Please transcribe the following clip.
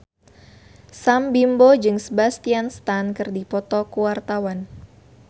Sam Bimbo jeung Sebastian Stan keur dipoto ku wartawan